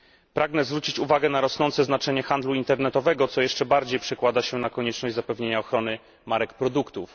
Pragnę zwrócić uwagę na rosnące znaczenie handlu internetowego, co jeszcze bardziej przekłada się na konieczność zapewnienia ochrony marek produktów.